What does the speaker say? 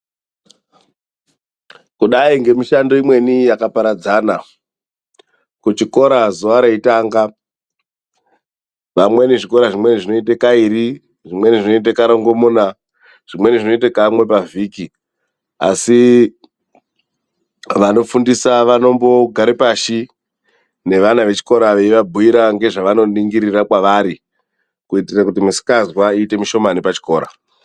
Kudai ngemishando imweni yakaparadzana. Kuchikora zuva reitanga, vamweni zvikora zvimweni zvineite kairi, zvimweni zvineite karongomuna, zvimweni zvineite kamwe pavhiki. Asi vanofundisa vanombogare pashi nevana vechikora veivabhuyira ngezvavanoningirira kwavari, kuitire kuti misikanzwa iite mishomani pachikora.